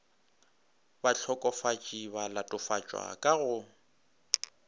bahlokofatši ba latofatšwa ka go